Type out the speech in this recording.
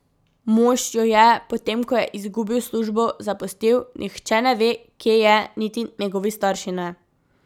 Mož jo je, potem ko je izgubil službo, zapustil, nihče ne ve, kje je, niti njegovi starši ne.